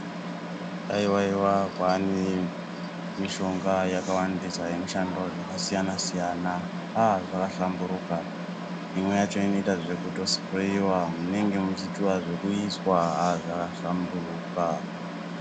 Haiwa iwa kwaane mishonga yakawandisa inoshande zvakasiyana siyana aaah zvahlamburuka, imweni yakhona inoitwa zvekusipureyiwa munenge muchiita zvekuiswa aah zvakahlamburuka.